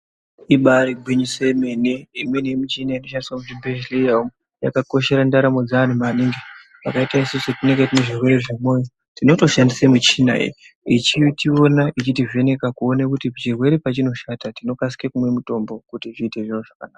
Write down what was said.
Ibari gwinyiso remene imweni yemichina inoshandiswa muzvibhedhlera umu yakakoshera ndaramo dzevandu maningi fanika isusu tinenge tine zvirwere zvebonde tinotoshandisa michina iyi yechiona yechitivheneka ichiona kuti chirwere pachinoshata tinokasika kumwa mutombo kuti zviite zvakanaka.